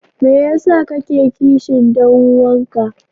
Me yasa kake kishin dan uwanka?